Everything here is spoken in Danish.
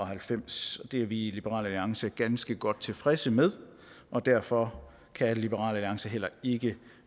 halvfems det er vi i liberal alliance ganske godt tilfredse med og derfor kan liberal alliance heller ikke